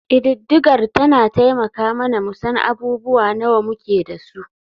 Ƙididdigar tana taimaka mana mu san abubuwa nawa muke da su.